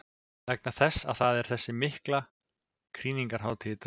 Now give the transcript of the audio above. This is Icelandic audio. Vegna þess að það er þessi mikla krýningarhátíð í dag.